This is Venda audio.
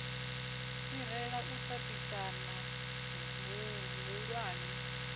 fhirela u tatisana hu hulwane